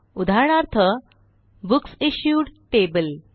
उदाहरणार्थ books issued table